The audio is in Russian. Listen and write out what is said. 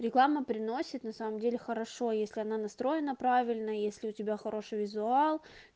реклама приносит на самом деле хорошо если она настроена правильно если у тебя хороший визуал